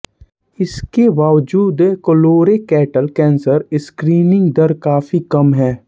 इस के बावजूद कोलोरेक्टल कैंसर स्क्रीनिंग दर काफी कम है